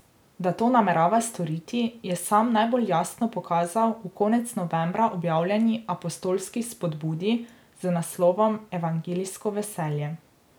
Da to namerava storiti, je sam najbolj jasno pokazal v konec novembra objavljeni apostolski spodbudi z naslovom Evangeljsko veselje.